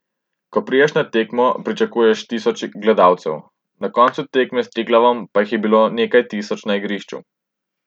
Ko prideš na tekmo, pričakuješ tisoč gledalcev, na koncu tekme s Triglavom pa jih je bilo nekaj tisoč na igrišču.